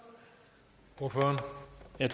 at